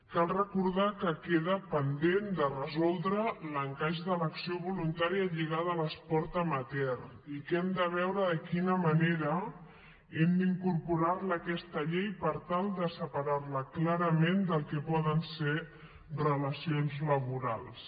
cal recordar que queda pendent de resoldre l’encaix de l’acció voluntària lligada a l’esport amateur i que hem de veure de quina manera hem d’incorporarla a aquesta llei per tal de separarla clarament del que poden ser relacions laborals